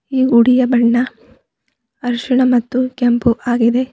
ಈ ಗುಡಿಯ ಬಣ್ಣ ಅರಿಶಿಣ ಮತ್ತು ಕೆಂಪು ಆಗಿದೆ.